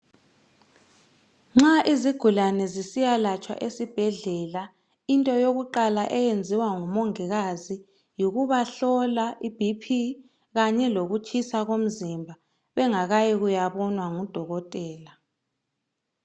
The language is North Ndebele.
Nxa izigulane zisiyalatshwa esibhedlela into yokuqala eyenziwa nguMongikazi yikubahlola iBP kanye lokukutshisa komzimba bengakayi kuyahlolwa nguDokotela.